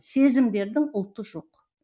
сезімдердің ұлты жоқ